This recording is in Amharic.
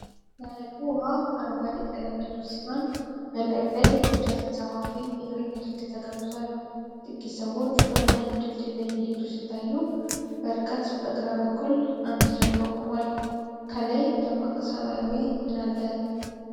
የሐይቁ ውሃ አረንጓዴ ቀለም ያለው ሲሆን፣ በላዩ ላይ ቢጫ ተንሳፋፊ የእግረኛ ድልድይ ተገንብቷል። ጥቂት ሰዎች በረጅሙ ድልድይ ላይ እየሄዱ ሲታዩ፣ በርቀት በግራ በኩል አንድ ጀልባ ቆሟል። ከላይ ደማቅ ሰማያዊ ምን አለ?